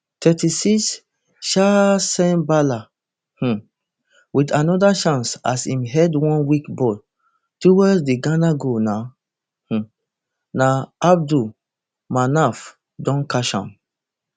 thirty-six chaaancembala um wit anoda chance as im head one weak ball towards di ghana goal na um so abdul manaf don catch am